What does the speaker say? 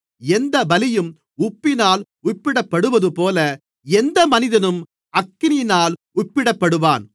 எந்தப் பலியும் உப்பினால் உப்பிடப்படுவதுபோல எந்த மனிதனும் அக்கினியினால் உப்பிடப்படுவான்